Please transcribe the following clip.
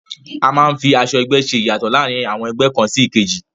A máa ń fi aṣọ ẹgbẹ́ ṣe ìyàtọ̀ láàrin àwọn ẹgbẹ́ kàn sí èkejì